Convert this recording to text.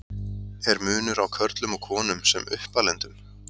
Er munur á körlum og konum sem uppalendum?